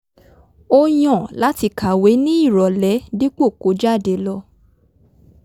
ó yàn láti kàwé ní ìrọ̀lẹ́ dípò kó jáde lọ